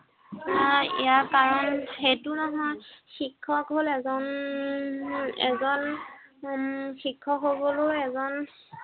আহ ইয়াৰ কাৰণ সেইটো নহয়, শিক্ষক হল এজন, উম এজন উম শিক্ষক হবলৈও এজন